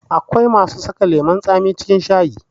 Akwai masu saka lemun tsami cikin shayi